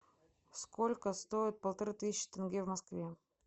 сколько стоит полторы тысячи тенге в москве